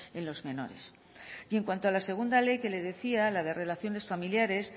en los menores y en cuanto a la segunda ley que le decía la de relaciones familiares